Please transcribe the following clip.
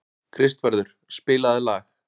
Kristvarður, spilaðu lag.